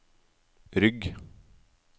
rygg